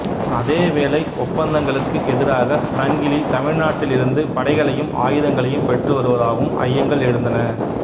அதே வேளை ஒப்பந்தங்களுக்கு எதிராக சங்கிலி தமிழ்நாட்டில் இருந்து படைகளையும் ஆயுதங்களையும் பெற்று வருவதாகவும் ஐயங்கள் எழுந்தன